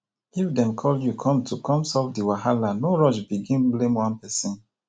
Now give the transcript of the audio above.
if dem call you come to come solve di wahala no rush begin blame one person